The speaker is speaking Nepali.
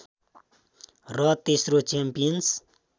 र तेस्रो च्याम्पियन्स